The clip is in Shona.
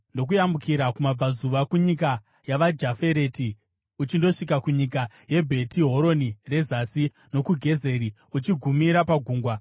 ndokuburukira kumabvazuva kunyika yavaJafereti uchindosvika kunyika yeBheti Horoni reZasi nokuGezeri, uchigumira pagungwa.